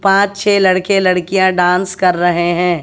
पांच छे लड़के लड़कियां डांस कर रहे हैं।